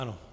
Ano.